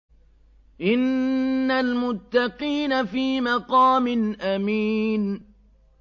إِنَّ الْمُتَّقِينَ فِي مَقَامٍ أَمِينٍ